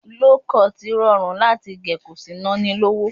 Low cut rọrùn láti gẹ̀ ko sì ná ni lówó